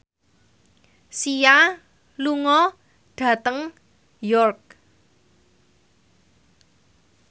Sia lunga dhateng York